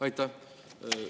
Aitäh!